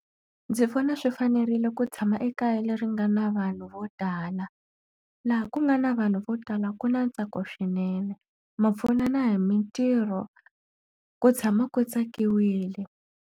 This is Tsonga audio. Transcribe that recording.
Ndzi vona swi fanerile ku tshama ekaya leri nga na vanhu vo tala. Laha ku nga na vanhu vo tala ku na ntsako swinene, ma pfunana hi mitirho, ku tshama ku tsakiwile.